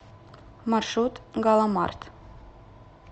маршрут галамарт